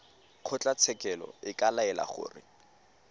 kgotlatshekelo e ka laela gore